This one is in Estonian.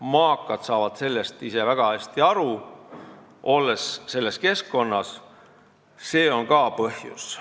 Maakad saavad sellest ise väga hästi aru, olles selles keskkonnas, ja see on ka põhjus.